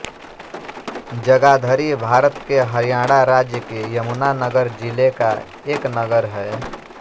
जगाधरी भारत के हरियाणा राज्य के यमुना नगर जिले का एक नगर है